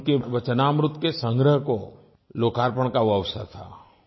उनके वचनामृत के संग्रह को लोकार्पण का वो अवसर था